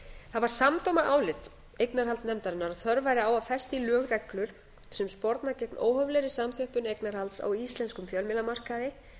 það var samdóma álit eignarhaldsnefndarinnar að þörf væri á að festa í lög reglur sem sporna gegn óhóflegri samþjöppun eignarhalds á íslenskum fjölmiðlamarkaði